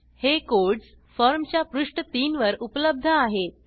हे कोड्स फॉर्मच्या पृष्ठ 3 वर उपलब्ध आहेत